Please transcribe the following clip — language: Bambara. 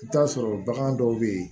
I bɛ t'a sɔrɔ bagan dɔw bɛ yen